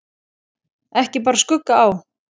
Ekki bar skugga á.